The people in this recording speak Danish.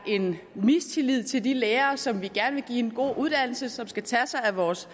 og en mistillid til de lærere som vi gerne vil give en god uddannelse og som skal tage sig af vores